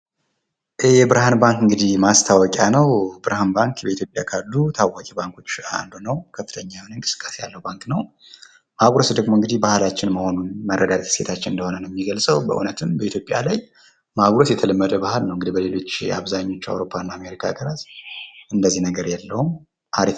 የብርሃን ባንክ እንግዲህ ማስታወቂያ ነው። ብርሃን ባንክ በኢትዮጵያ ካሉ ታዋቂ ባንኮች አንዱ ነው። ከፍተኛ የሆነ እንቅስቃሴ ያለው ባንክ ነው። ማጉረስ ደግሞ እንግዲህ ባህላችን መሆኑን መረዳት እሴታችን እንደሆነ ነው የሚገልጸው። በእውነትም በኢትዮጵያ ላይ ማጉረስ የተለመደ ባህል ነው። እንግዲህ በሌሎች፣ የአብዛኞች አውሮፓ እና አሜሪካ ሃገራት እንደዚህ ነገር የለውም። አሪፍ...